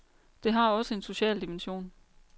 Det har også en social dimension.